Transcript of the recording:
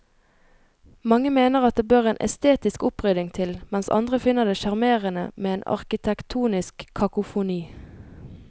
Mange mener at det bør en estetisk opprydding til, mens andre finner det sjarmerende med en arkitektonisk kakofoni.